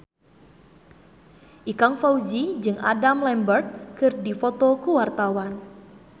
Ikang Fawzi jeung Adam Lambert keur dipoto ku wartawan